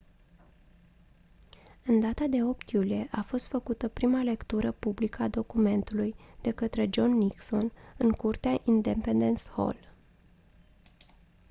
în data de 8 iulie a fost făcută prima lectură publică a documentului de către john nixon în curtea independence hall